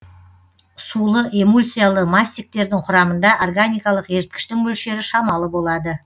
сулы эмульсиялы мастиктердің құрамында органикалық еріткіштің мөлшері шамалы болады